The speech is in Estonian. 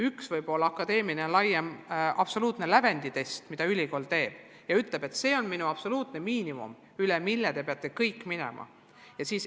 Üks võib olla akadeemiline laiem lävenditest, mida ülikool teeb, öeldes, et see on meie absoluutne miinimum, mille te peate kõik ületama.